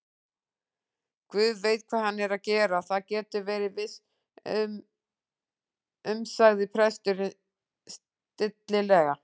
Guð veit hvað hann er að gera, það geturðu verið viss um- sagði presturinn stillilega.